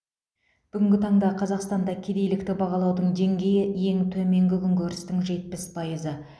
бүгінгі таңда қазақстанда кедейлікті бағалаудың деңгейі ең төменгі күнкөрістің жетпіс пайызы